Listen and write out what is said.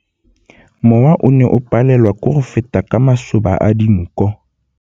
Mowa o ne o palelwa ke go feta ka masoba a dinko.